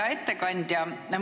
Hea ettekandja!